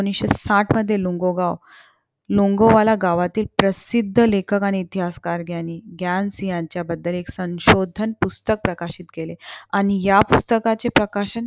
एकोणीशे साठमध्ये लोंगोगाव. लोंगोवाला गावातील प्रसिद्ध लेखन आणि इतिहासकार ग्यानी ग्यानसिहांच्या बद्दल ऐक संशोधन पुस्तक प्रकाशित केले. आणि या पुस्तकाचे प्रकाशन